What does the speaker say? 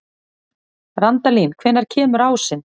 Randalín, hvenær kemur ásinn?